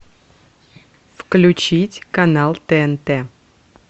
включить канал тнт